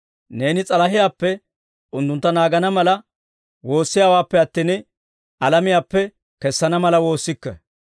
Neeni s'alahiyaappe unttuntta naagana mala woossiyaawaappe attin, alamiyaappe kessana mala woossikke.